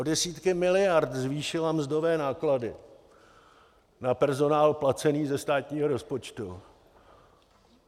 O desítky miliard zvýšila mzdové náklady na personál placený ze státního rozpočtu.